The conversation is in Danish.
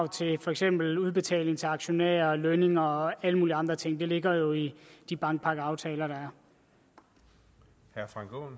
til for eksempel udbetaling til aktionærer lønninger og alle mulige andre ting det ligger jo i de bankpakkeaftaler der er